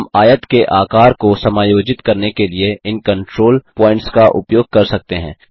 हम आयत के आकार को समायोजित करने के लिए इन कन्ट्रोल प्वॉइन्टस का उपयोग कर सकते हैं